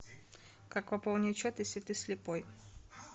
как пополнить счет если ты слепой